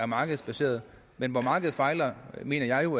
markedsbaserede men hvor markedet fejler mener jeg jo